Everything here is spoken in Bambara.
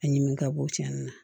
A ɲimi ka bɔ cɛnni na